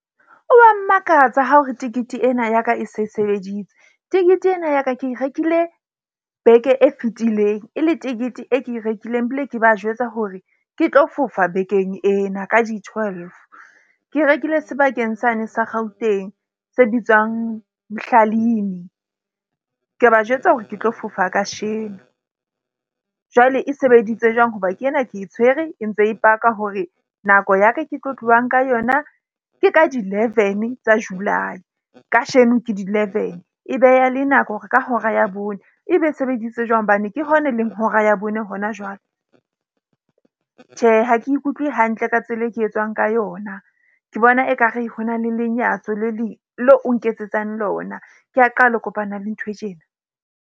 O wa mmakatsa ha o re tikete ena ya ka e se sebeditse. Tikete ena ya ka ke e rekile beke e fetileng e le tikete e ke e rekileng ebile ke ba jwetsa hore ke tlo fofa bekeng ena ka di twelve. Ke e rekile sebakeng sane sa Gauteng se bitswang , ka ba jwetsa hore ke tlo fofa kasheno. Jwale e sebeditse jwang hoba ke ena ke e tshwere e ntse e paka hore nako ya ka ke tlo tlohang ka yona ke ka di leven tsa July, kasheno, ke di leven. E beha le nako hore ka hora ya bone ebe e sebeditse jwang hobane ke yona e leng hora ya bone hona jwale. Tjhe, ha ke ikutlwe hantle ka tsela e ka etswang ka yona, ke bona ekare ho na le lenyatso le leo o nketsetsang lona. Ke a qala ho kopana le ntho e tjena.